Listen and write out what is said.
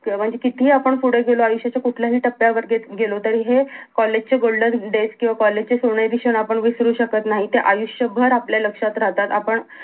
क म्हणजे कितीही आपण पुढे गेलो आयुष्याच्या कुठल्याही टप्यावर गे गेलो तरी हे कॉलेज चे golden days किंवा कॉलेजचे सोनेरी क्षण आपण विसरू शकत नाहीत ते आयुष्य भर आपल्या लक्ष्यात राहतात आपण